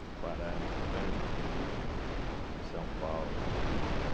As paradas, o trânsito é terrível em São Paulo, né?